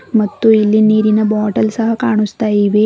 ಮತ್ತು ಇಲ್ಲಿ ನೀರಿನ ಬಾಟಲ್ ಸಹ ಕಾಣುಸ್ತಾ ಇವೆ.